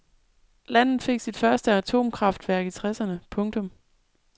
Landet fik sit første atomkraftværk i tresserne . punktum